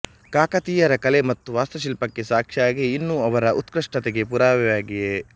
ಕಾಕತೀಯರ ಕಲೆ ಮತ್ತು ವಾಸ್ತುಶಿಲ್ಪಕ್ಕೆ ಸಾಕ್ಷಿಯಾಗಿ ಇನ್ನೂ ಅವರ ಉತ್ಕೃಷ್ಟತೆಗೆ ಪುರಾವೆಯಾಗಿದೆ